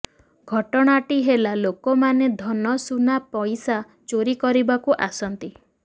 ଘଟଣାଟି ହେଲା ଲୋକମାନେ ଧନ ସୁନା ପଇସା ଚୋରି କରିବାକୁ ଆସନ୍ତି